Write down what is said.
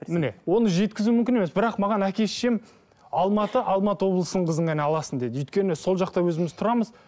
міне оны жеткізу мүмкін емес бірақ маған әке шешем алматы алматы облысының қызын ғана аласың деді өйткені сол жақта өзіміз тұрамыз